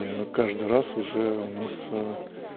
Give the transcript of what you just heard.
я говорю каждый раз уже у нас